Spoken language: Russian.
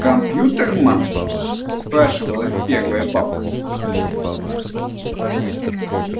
компьютерман спрашивает первая бабка